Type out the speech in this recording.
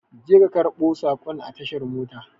Je ka a karbon sakon a tashar motar